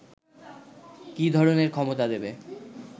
কি ধরনের ক্ষমতা দেবে